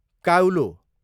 काउलो